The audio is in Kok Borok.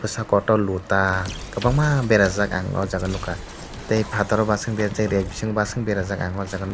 sa kotor lota kwbangma berajak ang aw jaaga nugkha tai fataro ba sung dia che bising berajak ang aj jaaga nugkha.